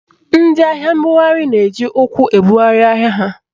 Ndị ahịa mbugharị na-eji ụkwụ ebugharị ahịa ha.